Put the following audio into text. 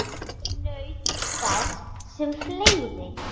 Ég naut þess sem fleiri.